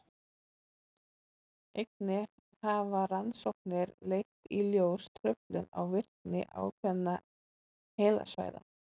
einnig hafa rannsóknir leitt í ljós truflun á virkni ákveðinna heilasvæða